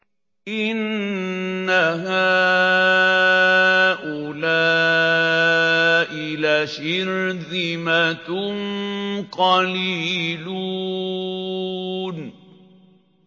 إِنَّ هَٰؤُلَاءِ لَشِرْذِمَةٌ قَلِيلُونَ